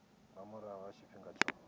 nga murahu ha tshifhinga tsho